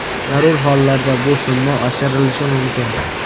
Zarur hollarda bu summa oshirilishi mumkin.